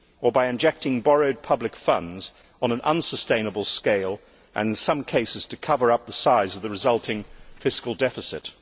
or by injecting borrowed public funds on an unsustainable scale and, in some cases, to cover up the size of the resulting fiscal deficit.